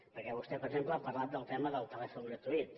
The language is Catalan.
perquè vostè per exemple ha parlat del tema del telèfon gratuït